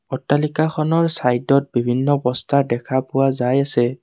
অট্টালিকাখনৰ চাইদত বিভিন্ন বস্তা দেখা পোৱা যায় আছে।